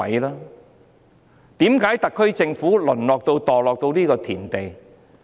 為何特區政府會淪落、墮落到這個田地？